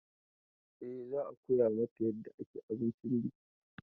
E, za a koya mata yarda ake abincin biki.